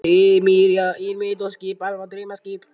Heimir: Já, einmitt og þetta skip er alveg draumaskip?